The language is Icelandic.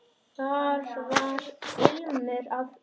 Þar var ilmur af öllu.